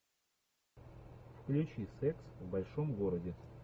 включи секс в большом городе